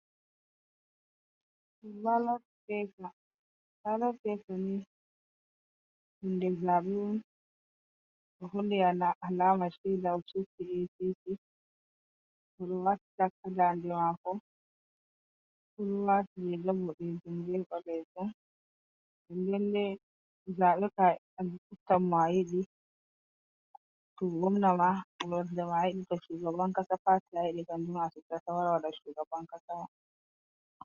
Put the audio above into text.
Balot pepa ni hunde zabe on do holli alama sheda o subti APC odo watti tak ha dande mako odo watti rga bodejum be balejum, lallai zabe kam a subtan mo ayidi to gomna ma ko berde ma yidi ka shugaban kasa ma , wara wannam shugaban kasa ma.